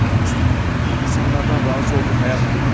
Allahın istədiyi, insanlardan razı olduğu həyat bu mudur?